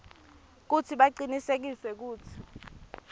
kutsi bacinisekise kutsi